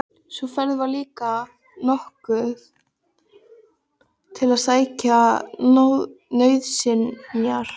Sú ferð var líka notuð til að sækja nauðsynjar.